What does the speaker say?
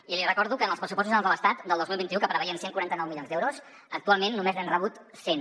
i li recordo que en els pressupostos generals de l’estat del dos mil vint u que preveien cent i quaranta nou milions d’euros actualment només n’hem rebut cent